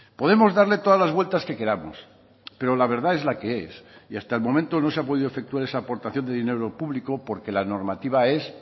podemos darle todas las vueltas que queramos pero la verdad es la que es y hasta el momento no se ha podido efectuar esa aportación de dinero público porque la normativa es